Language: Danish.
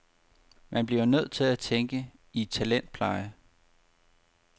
Man bliver nødt til at tænke i talentpleje.